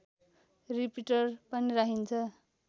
repeater पनि राखिन्छ